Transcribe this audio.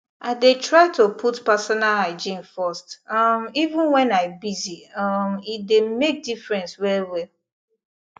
i dey try to put personal hygiene first um even when i busy um e dey make difference well well